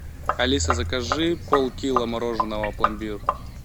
алиса закажи пол кило мороженого пломбир